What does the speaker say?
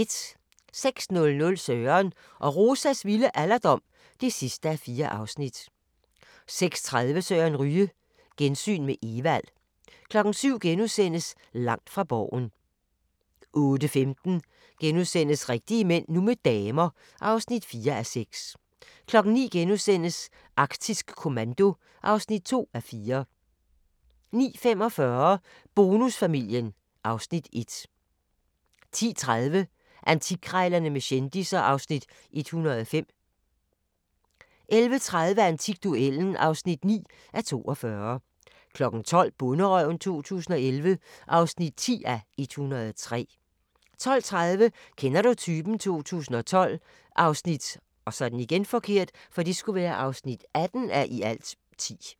06:00: Søren og Rosas vilde alderdom (4:4) 06:30: Søren Ryge: Gensyn med Evald 07:00: Langt fra Borgen * 08:15: Rigtige mænd – nu med damer (4:6)* 09:00: Arktisk Kommando (2:4)* 09:45: Bonusfamilien (Afs. 1) 10:30: Antikkrejlerne med kendisser (Afs. 105) 11:30: Antikduellen (9:42) 12:00: Bonderøven 2011 (10:103) 12:30: Kender du typen? 2012 (18:10)